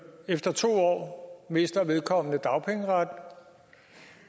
efter to år mister vedkommende dagpengeretten